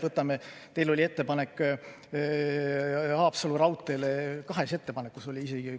Näiteks teil oli ettepanek Haapsalu raudtee kohta, kahes ettepanekus oli isegi.